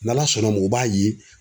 N'ALA sɔnn'a ma u b'a ye.